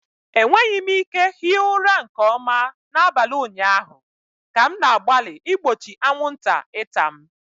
Enweghị m ike hie ụra nke ọma n'abalị ụnyaahụ ka m na-agbalị igbochi anwụnta ịta m.